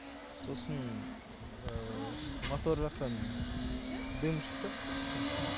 сосын мотор жақтан дым шықты түтін